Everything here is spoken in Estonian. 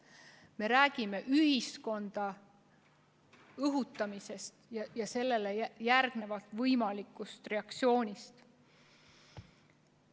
Me räägime ühiskonnas viha õhutamisest ja sellele järgneda võivast reaktsioonist.